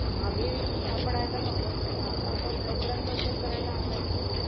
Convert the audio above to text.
मागे पडायला नकोत. त्या आता आपण लवकरात लवकर करायला हव्यात की नको?